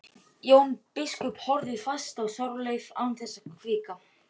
Jón biskup horfði fast á Þorleif án þess að hvika.